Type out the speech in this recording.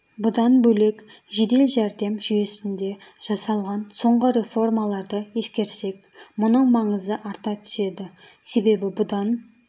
бұдан бөлек жедел жәрдем жүйесінде жасалған соңғы реформаларды ескерсек мұның маңызы арта түседі себебі бұдан